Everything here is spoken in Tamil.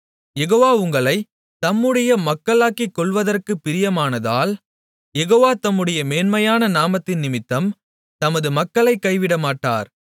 யெகோவா உங்களைத் தம்முடைய மக்களாக்கிக்கொள்வதற்கு பிரியமானதால் யெகோவா தம்முடைய மேன்மையான நாமத்தினிமித்தம் தமது மக்களைக் கைவிடமாட்டார்